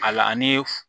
A la ani f